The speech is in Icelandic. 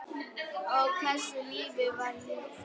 Ó, hversu lífið var ljúft.